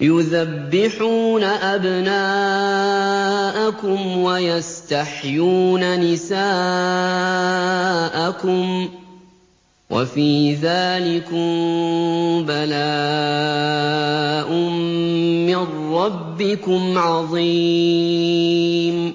يُذَبِّحُونَ أَبْنَاءَكُمْ وَيَسْتَحْيُونَ نِسَاءَكُمْ ۚ وَفِي ذَٰلِكُم بَلَاءٌ مِّن رَّبِّكُمْ عَظِيمٌ